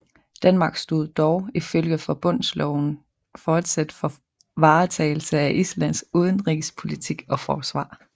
Danmark stod dog ifølge forbundsloven fortsat for varetagelse af Islands udenrigspolitik og forsvar